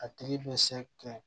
A tigi bɛ se kɛ